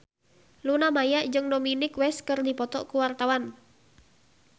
Luna Maya jeung Dominic West keur dipoto ku wartawan